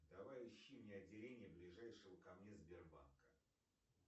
давай ищи мне отделение ближайшего ко мне сбербанка